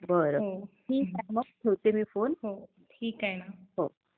ठीक आहे. ठेवते मग मी फोन. ठीक आहे.